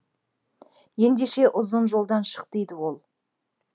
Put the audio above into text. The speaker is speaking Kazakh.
ендеше ұзын жолдан шық дейді ол